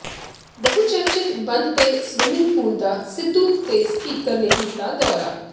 ਬਹੁਚਰਚਿਤ ਬੰਦ ਪਏ swimming pool ਦਾ ਸਿੱਧੂ ਤੇ ਸਪੀਕਰ ਨੇ ਕੀਤਾ ਦੌਰਾ